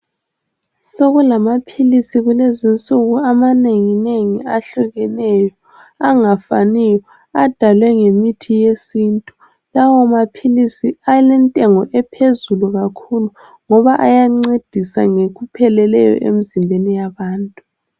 Sokulamaphilisi kulezi insuku amanengi nengi ahlukeneyo angafaniyo adalwe ngemithi yesintu. Lawo maphilisi alentengo ephezulu kakhulu ngoba ayancedisa ngokupheleleyo emzimbeni yabantu.